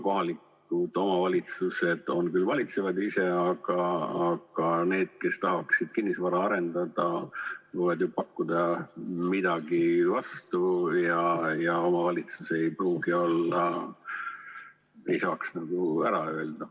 Kohalikud omavalitsused küll valitsevad ise, aga need, kes tahaksid kinnisvara arendada, võivad ju pakkuda midagi vastu ja omavalitsus ei pruugi saada ära öelda.